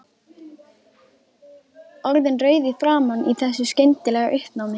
Orðin rauð í framan í þessu skyndilega uppnámi.